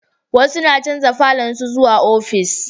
Wasu na chanja falon su zuwa ofis